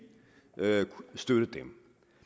skal støtte dem